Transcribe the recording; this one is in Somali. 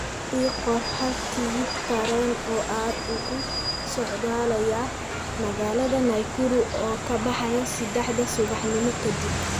ii qor hal tigidh tareen oo aad ugu socdaalaya magaalada nakuru oo ka baxaya sadexda subaxnimo kadib